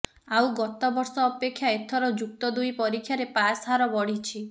ଆଉ ଗତ ବର୍ଷ ଅପେକ୍ଷା ଏଥର ଯୁକ୍ତ ଦୁଇ ପରୀକ୍ଷାରେ ପାସ୍ ହାର ବଢ଼ିଛି